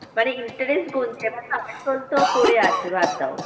মানে interest গুনছে এবার তো আসল তো পরে আছে বাদ দাও।